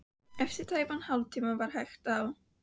Eftir tæpan hálftíma var hægt á.